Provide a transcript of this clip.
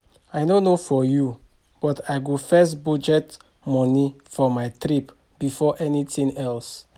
I no know for you but I go first budget money for my trip before anything else